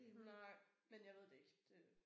Nej men jeg ved det ikke det